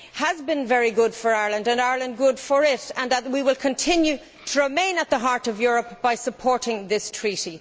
has been very good for Ireland and Ireland good for it, and that we will continue to remain at the heart of Europe by supporting this Treaty.